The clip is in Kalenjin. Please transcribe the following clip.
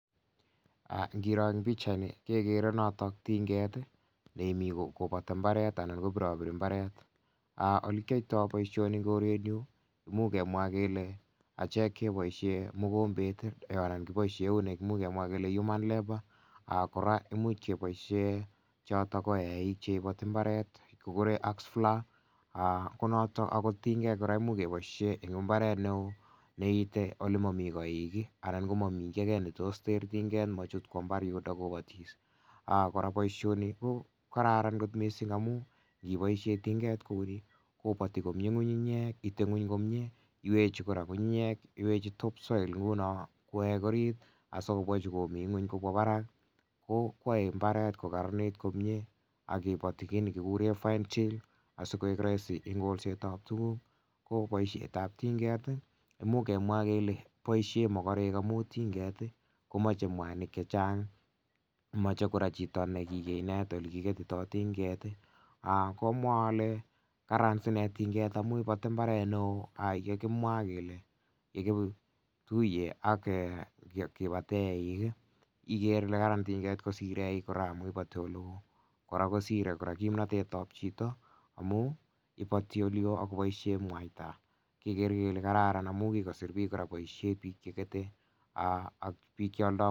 En bichaini kegere Niton kegere Noton tinget nekimi koboti mbaret Alan KO birobiri mbaret oli kiyoita boishoni imuch kemwa kele achek chekeboishen mugombet Alan keiboishen human labour kora imuch keiboishen choton ko eik en imbaret konoton keguren ax floor konoton kotiyengei kora imuch keiboishen en imbaret neo neite elemoite koik Alan Mimi kit age neter tinget kobotis AK kora boishoni ko kararan kot mising niboishen tinget kouni koboti komnye ngungu nyek ite ngweng komnye iwiki kora ngungunyek ngunon kowek orit asi chemi ngweny kowek Barak ko yoe mbaret ko Karanit komnye AK ngiboti koigu Roisi en ngolset tab tuguk ko baishet tab tinget imuch kemwa kele boishen mogorek amun tinget komoche mwanik chechang moche kora Chito nikikinet ele kigetito tinget komwa ale Karan tinget amun iboti imbaret neo yekimwa kele kobaten eik Iker Ile kararan tinget kosir eik kora ngap iboti eleo kora kosire kimnotet tab Chito amun iboti eleo akobaishen mwaita kegere kele kararan amun imuch kosir bik chegete AK bik cheyando